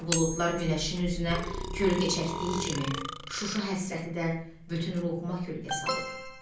Qara buludlar günəşin üzünə kölgə çəkdiyi kimi, Şuşa həsrəti də bütün ruhuma kölgə salıb.